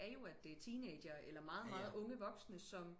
Er jo at det er teenager eller meget meget unge voksne som